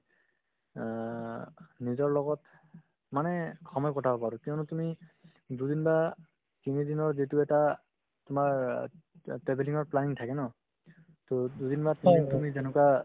অ, নিজৰ লগত মানে সময় কটাব পাৰো কিয়নো তুমি দুদিন বা তিনিদিনৰ যিটো এটা তোমাৰ অ ta~ travelling ৰ planning থাকে ন to দুদিন বা তিনিদিন তুমি যেনেকুৱা